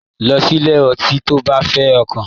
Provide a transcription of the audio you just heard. Lọ sílé ọtí tó bá fẹ ọkàn.